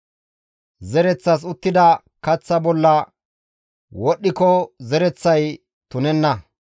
Zereththas uttida kaththa bolla wodhdhiko zereththay tunenna.